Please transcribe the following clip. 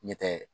Ɲɛtɛ